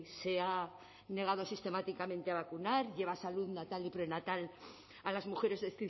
se ha negado sistemáticamente a vacunar lleva salud natal y prenatal a las mujeres de